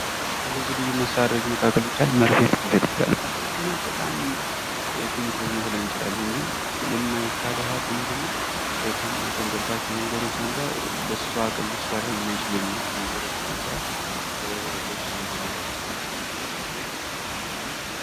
ከልዩ ልዩ መሳሪያዎች መካከል ለምሳሌ መርፌ መውሰድ እንችላለን መርፌናን ስናያት ትንሽ ልትመስለን ትችላለች ግን የማይከረው ምንድነው ከምናደንቅባቸው መንገዶች አንዷ በሷ አቅም ከሚሰሩ ልብስ እንድንለብስ ።